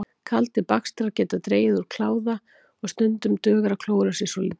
Kaldir bakstrar geta dregið úr kláða og stundum dugar að klóra sér svolítið.